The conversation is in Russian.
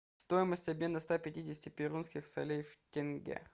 стоимость обмена ста пятидесяти перуанских солей в тенге